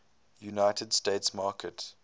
united states market